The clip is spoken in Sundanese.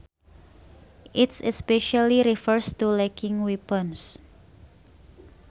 It especially refers to lacking weapons